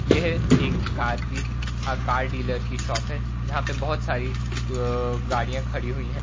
यह एक कार की अ कार डॉलर की शॉप है जहां पे बहोत सारी द गाड़ियां खड़ी हुई हैं।